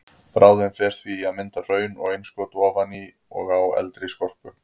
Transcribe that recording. Bráðin fer því í að mynda hraun og innskot ofan á og í eldri skorpu.